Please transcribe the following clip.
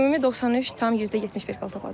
Ümumi 93,75 bal topladım.